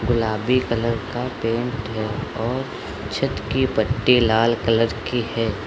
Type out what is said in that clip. गुलाबी कलर का पेंट है और छत की पट्टे की लाल कलर की है।